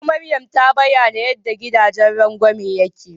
Gwaggo Maryam ta bayana yanda gidajen rangwame yake.